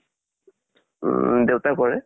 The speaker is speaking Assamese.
উম দেউতা কৰে।